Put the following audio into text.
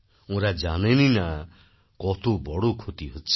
ওঁরা জানেনই না কতবড় ক্ষতি হচ্ছে